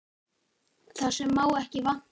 Það sem má ekki vanta!